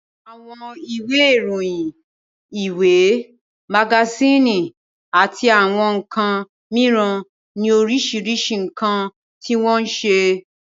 Àwọn ìwé ìròyìn, ìwé, magasíìnì àti àwọn nǹkan mìíràn ni oríṣiríṣi nǹkan tí wọ́n ń ṣe